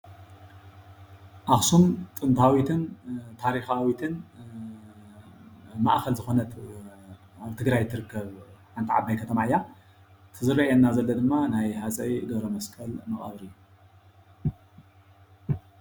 ኣኽሱም ጥንታውትን ታሪኻዊትን ማእኸል ዝኾነት ኣብ ትግራይ ትርከብ ሓንቲ ዓባይ ከተማ እያ እቲ ዝርአየና ዘሎ ድማ ናይ ሃፀይ ገብረመስቀል መቃብር እዩ።